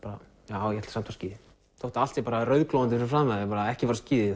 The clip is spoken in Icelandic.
já ég ætla samt á skíði þótt að allt sé rauðglóðandi fyrir framan mig ekki fara á skíði